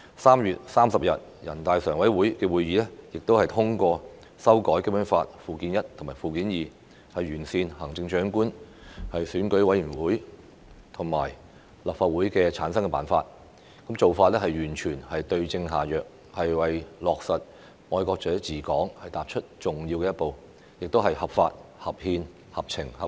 3月30日人大常委會會議亦通過修改《基本法》附件一和附件二，完善行政長官、選舉委員會和立法會的產生辦法，做法完全是對症下藥，為落實"愛國者治港"踏出重要的一步，亦合法合憲，合情合理。